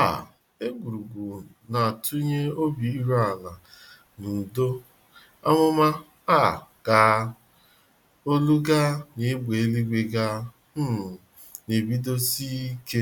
um Egwurugwu na atunye obi iru ala na udo. Àmụ̀mà um ga, olu ga na égbè eluigwe ga um na-ebedo si ike